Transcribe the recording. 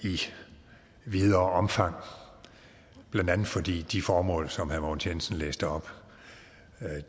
i videre omfang blandt andet fordi de formål som herre mogens jensen læste op